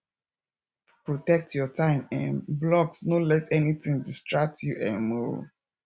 protect your time um blocks no let anytin distract you um o